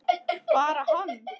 Bara hann?